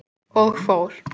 Og fór.